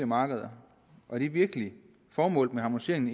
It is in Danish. markeder er det virkelig formålet med harmoniseringen